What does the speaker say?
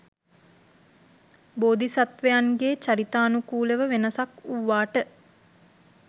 බෝධිසත්වයන්ගේ චරිතානුකූලව වෙනසක් වූවාට